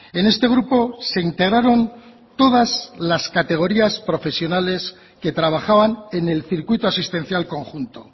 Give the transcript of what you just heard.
en este grupo se integraron todas las categorías profesionales que trabajaban en el circuito asistencial conjunto